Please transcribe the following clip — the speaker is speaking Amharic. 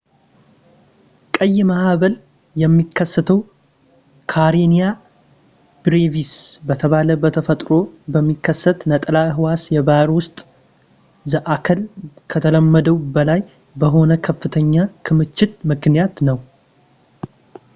ቀይ ማዕበል የሚከሰተው ካሬኒያ ብሬቪስ በተባለ በተፈጥሮ በሚከሰት ነጠላ ሕዋስ የባሕር ውስጥ ዘአካል ከተለመደው በላይ በሆነ ከፍተኛ ክምችት ምክንያት ነው